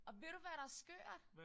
Og ved du hvad der skørt